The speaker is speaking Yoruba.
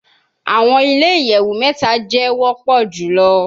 Awọn ile iyẹwu mẹta jẹ wọpọ julọ